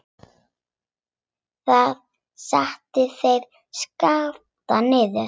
Þar settu þeir Skapta niður.